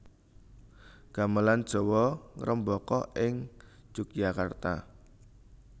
Gamelan Jawa ngrembaka ing Yogyakarta